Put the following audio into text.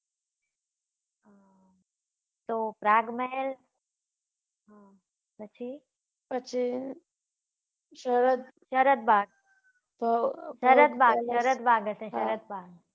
તો પ્રાગ મહેલ પછી પછી સરદ સરદબાગ હશે સરદ બાગ.